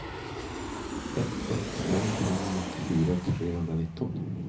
ett ett fem fem nittiofyra trehundranitton